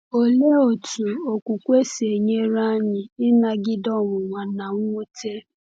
Olee otú okwukwe si enyere anyị ịnagide ọnwụnwa na mwute?